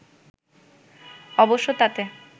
অবশ্য তাতে